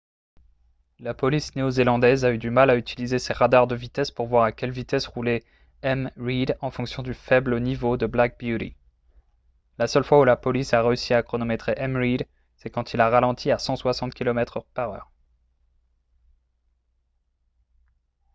la police néo-zélandaise a eu du mal à utiliser ses radars de vitesse pour voir à quelle vitesse roulait m reid en raison du faible niveau de black beauty la seule fois où la police a réussi à chronométrer m reid c'est quand il a ralenti à 160 km/h